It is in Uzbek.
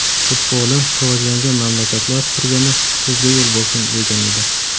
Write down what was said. Futboli rivojlangan mamlakatlar turganda sizga yo‘l bo‘lsin’, degan edi.